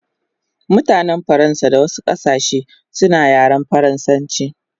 Mutanen Faransa da wasu kasashe suna yaren faransanchi